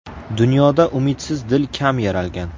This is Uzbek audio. Dunyoda umidsiz dil kam yaralgan.